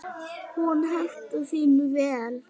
Hún hentar því vel.